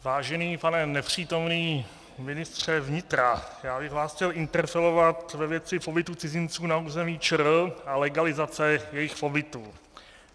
Vážený pane nepřítomný ministře vnitra, já bych vás chtěl interpelovat ve věci pobytu cizinců na území ČR a legalizace jejich pobytu.